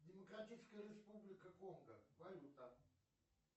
демократическая республика конго валюта